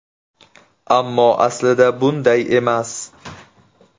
Ammo aslida bunday emas.